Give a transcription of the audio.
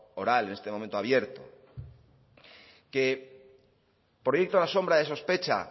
oral en este momento abierto que proyecta la sombra de sospecha